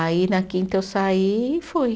Aí na quinta eu saí e fui.